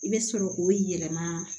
I bɛ sɔrɔ k'o yɛlɛma